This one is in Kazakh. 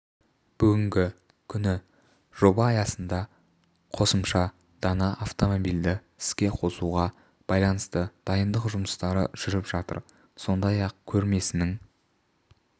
бүгінгі күні жоба аясында қосымша дана автомобильді іске қосуға байланысты дайындық жұмыстары жүріп жатыр сондай-ақ көрмесінің